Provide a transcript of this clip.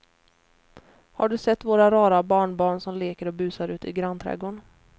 Har du sett våra rara barnbarn som leker och busar ute i grannträdgården!